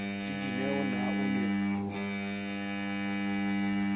le dineo na o ne